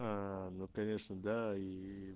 ну конечно да и